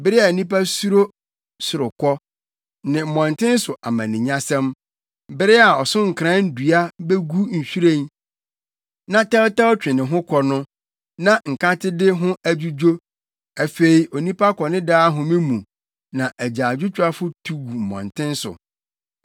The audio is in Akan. bere a nnipa suro sorokɔ ne mmɔnten so amanenyasɛm; bere a “ɔsonkoran” dua begu nhwiren na tɛwtɛw twe ne ho kɔ no na nkatede ho adwudwo. Afei onipa kɔ ne daa home mu na agyaadwotwafo tu gu mmɔnten so.